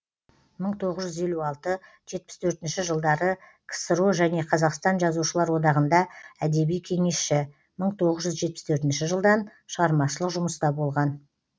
мың тоғыз жүз елу алты жетпіс төртінші жылдары ксро және қазақстан жазушылар одағында әдеби кеңесші мың тоғыз жүз жетпіс төртінші жылдан шығармашылық жұмыста болған